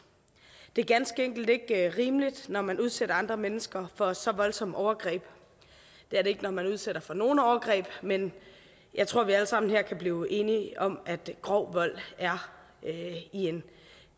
det er ganske enkelt ikke rimeligt når man udsætter andre mennesker for så voldsomme overgreb det er det ikke når man udsætter mennesker for nogen overgreb men jeg tror vi alle sammen her kan blive enige om at grov vold er i en